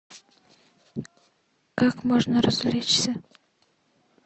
как можно развлечься